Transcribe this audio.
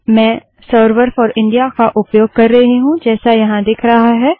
मैं server for India का उपयोग कर रही हूँ जैसा यहाँ दिख रहा है